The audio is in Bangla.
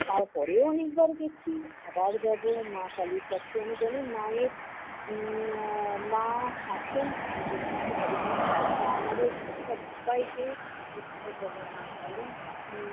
তারপরেও অনেকবার গেছি, আবার যাব মা কালীর কাছে। আমি জানি মায়ের উম আহ মা আছেন আমাদের কিছু হবেনা। মা আমাদের সব্বাইকে উদ্ধার করবে মা কালী।